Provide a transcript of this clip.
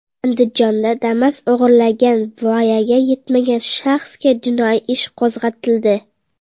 Andijonda Damas o‘g‘irlagan voyaga yetmagan shaxsga jinoiy ish qo‘zg‘atildi.